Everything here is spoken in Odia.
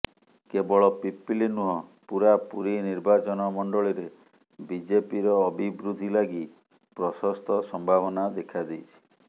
କେବଳ ପିପିଲି ନୁହଁ ପୁରା ପୁରୀ ନିର୍ବାଚନ ମଣ୍ଡଳୀରେ ବିଜେପିର ଅଭିବୃଦ୍ଧି ଲାଗି ପ୍ରଶସ୍ତ ସମ୍ଭାବନା ଦେଖା ଦେଇଛି